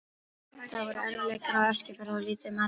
Það voru erfiðleikaár á Eskifirði og lítið um atvinnu.